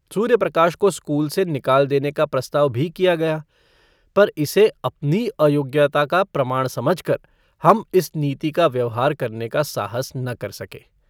सूर्यप्रकाश को स्कूल से निकाल देने का प्रस्ताव भी किया गया पर इसे अपनी अयोग्यता का प्रमाण समझकर हम इस नीति का व्यवहार करने का साहस न कर सके।